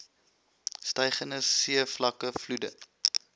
stygende seevlakke vloede